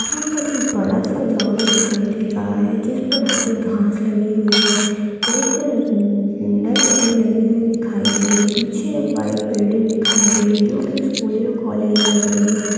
यहाँ पर एक बड़ा सा ग्राउंड दिखाई दे रहा हैं जिस पर हरी घास लगी हुई है। एक-क नर-न-नेट भी लगी हुई दिखाई दे रही है पीछे व्हाइट बिल्डिंग दिखाई दे रही है जो कि स्कूल या कॉलेज लग रही है।